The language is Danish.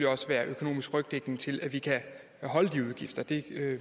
også være økonomisk rygdækning til at vi kan afholde de udgifter det